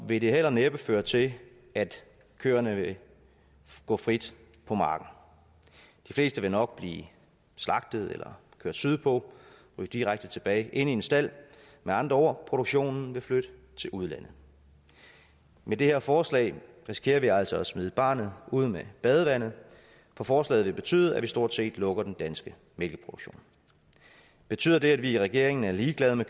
vil det heller næppe føre til at køerne vil gå frit på marken de fleste vil nok blive slagtet eller kørt sydpå og direkte tilbage ind i en stald med andre ord produktionen vil flytte til udlandet med det her forslag risikerer vi altså at smide barnet ud med badevandet for forslaget vil betyde at vi stort set lukker den danske mælkeproduktion betyder det at vi i regeringen er ligeglade med